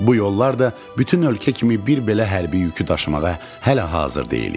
Bu yollar da bütün ölkə kimi bir belə hərbi yükü daşımağa hələ hazır deyildi.